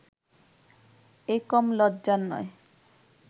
এ কম লজ্জার নয়